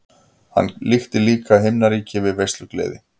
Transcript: Hann líkti líka himnaríki við veislugleði.